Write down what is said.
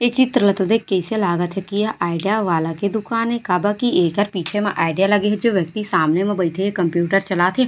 ए चित्र ला तो देख के आईसे लागत हे की एह आईडिया वाला के दूकान हे काबर की एकर पीछे मा आईडिया लगे हे जो व्यक्ति सामने में बाईठे हे कंप्यूटर चलाथे।